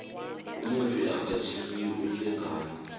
umufi akatjhiyi umlingani